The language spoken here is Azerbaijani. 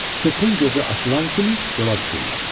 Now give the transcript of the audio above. Sübhün gözü açılan kimi yola düşürlər.